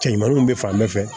Cɛ ɲumaninw bɛ fan bɛɛ fɛ